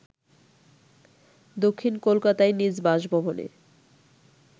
দক্ষিণ কোলকাতায় নিজ বাসভবনে